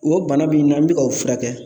O bana bi na n be k'o furakɛ